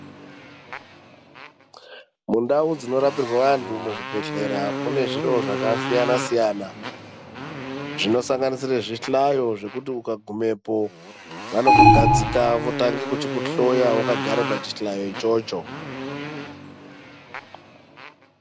Mundau dzinorapirwe antu muzvibhedhlera mune zviro zvakasiyana siyana zvino sanganisire zvi hlayo zvekuti ukagumepo vanokugadzika votange kuchiku hloya wakagara pachihlayo ichocho.